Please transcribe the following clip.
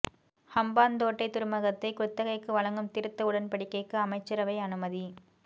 ஹம்பாந்தோட்டை துறைமுகத்தை குத்தகைக்கு வழங்கும் திருத்த உடன்படிக்கைக்கு அமைச்சரவை அனுமதி